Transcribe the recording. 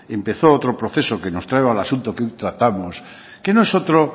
empezó otro proceso que nos trae al asunto que aún tratamos que no es otro